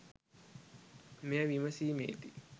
මෙය විමසීමේදී